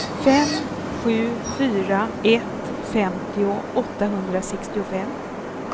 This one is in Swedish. fem sju fyra ett femtio åttahundrasextiofem